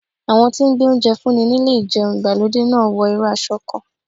Àwọn tí ń gbé oúnjẹ fún ni nílé ìjẹun ìgbàlódé náà wọ irú aṣọ kan.